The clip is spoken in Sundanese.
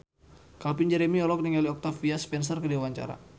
Calvin Jeremy olohok ningali Octavia Spencer keur diwawancara